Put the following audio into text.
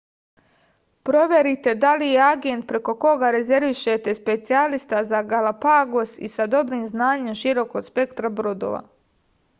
proverite da li je agent preko koga rezervišete specijalista za galapagos i sa dobrim znanjem širokog spektra brodova